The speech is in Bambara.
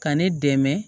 Ka ne dɛmɛ